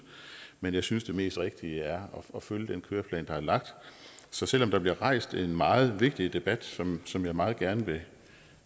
men jeg synes det mest rigtige er at følge den køreplan der er lagt så selv om der bliver rejst en meget vigtig debat som som jeg meget gerne vil